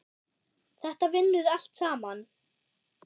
Þetta vinnur allt saman.